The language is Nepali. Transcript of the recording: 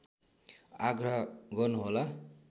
आग्रह गर्नुहोला